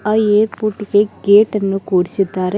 ಆ ಏರ್ಪೋರ್ಟ್ ಗೆ ಗೇಟ್ ಅನ್ನು ಕೂಡಿಸಿದ್ದಾರೆ ಗೇ--